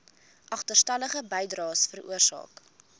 agterstallige bydraes veroorsaak